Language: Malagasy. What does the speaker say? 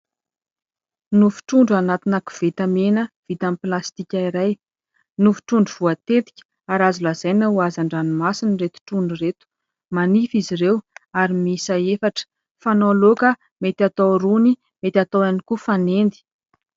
Nofo trondro anatina koveta mena vita amin'ny plastika iray. Nofo trondro voatetika ary azo lazaina ho hazandranomasina ireto trondro ireto. Manify izy ireo, ary miisa efatra. Fanao laoka, mety atao rony, mety atao ihany koa fanendy.